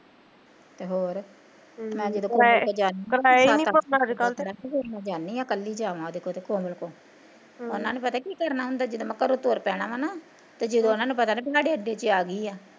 ਤੇ ਹੋਰ ਤੇ ਮੈਂ ਕੱਲੀ ਜਾਵਾ ਉਹਦੇ ਕੋਲ ਕੋਮਲ ਕੋਲ, ਉਹਨਾਂ ਨੇ ਪਤਾ ਕੀ ਕਰਨਾ ਹੁੰਦਾ ਜਦੋਂ ਮੈਂ ਘਰੋਂ ਤੁਰ ਪੈਣਾ ਵਾ ਨਾ ਤੇ ਜਦੋਂ ਉਹਨਾਂ ਨੂੰ ਪਤਾ ਲੱਗਣ ਵੀ ਸਾਡੇ ਅੱਡੇ ਚ ਆ ਗਈ ਆ